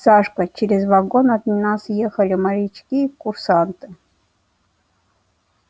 сашка через вагон от нас ехали морячки курсанты